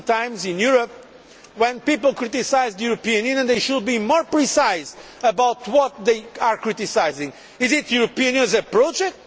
Sometimes in Europe, when people criticise the European Union, they should be more precise about what they are criticising. Is it the European Union as a project?